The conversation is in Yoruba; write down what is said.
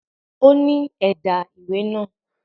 Ó ní ẹ̀dà ìwé náà